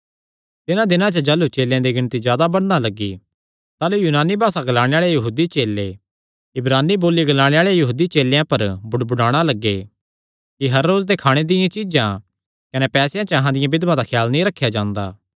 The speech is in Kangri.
तिन्हां दिनां च जाह़लू चेलेयां दी गिणती जादा बधणा लग्गी ताह़लू यूनानी भासा ग्लाणे आल़े यहूदी चेले इब्रानी बोली ग्लाणे आल़े यहूदी चेलेयां पर बुड़बुड़ाणा लग्गे कि हर रोज दे खाणे दियां चीज्जां कने पैसेयां च अहां दियां बिधवां दा ख्याल नीं रखेया जांदा